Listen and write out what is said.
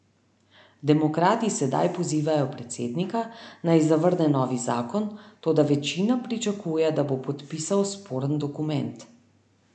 Demokrati sedaj pozivajo predsednika, naj zavrne novi zakon, toda večina pričakuje, da bo podpisal sporen dokument.